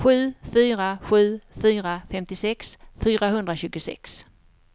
sju fyra sju fyra femtiosex fyrahundratjugosex